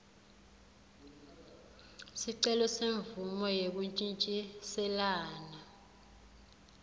sicelo semvumo yekuntjintjiselana